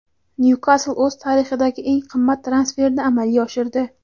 "Nyukasl" o‘z tarixidagi eng qimmat transferni amalga oshirdi;.